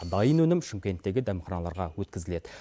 дайын өнім шымкенттегі дәмханаларға өткізіледі